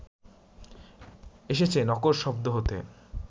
এসেছে নকর শব্দ হতে